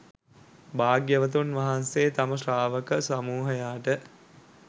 භාග්‍යවතුන් වහන්සේ තම ශ්‍රාවක සමූහයාට